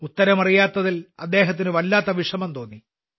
ഉത്തരം അറിയാത്തതിൽ അദ്ദേഹത്തിന് വല്ലാത്ത വിഷമം തോന്നി